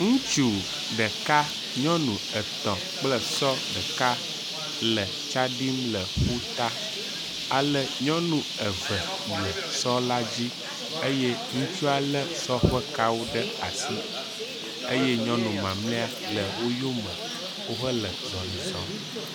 Ŋutsu ɖeka, nyɔnu etɔ̃ kple esɔ ɖeka le tsa ɖim le ƒuta ale nyɔnu eve le sɔ la dzi eye ŋutsua lé sɔ ƒe kawo ɖe asi eye nyɔnu mamlɛa le wo yome wohe azɔ̃li zɔ̃m.